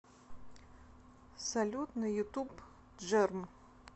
салют на ютуб джерм